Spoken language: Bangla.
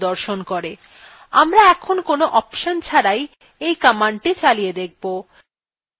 আমরা এখন কোন অপশন ছাড়াই এই command চালিয়ে দেখব